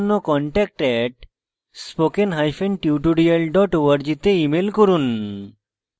বিস্তারিত তথ্যের জন্য contact @spokentutorial org তে ইমেল করুন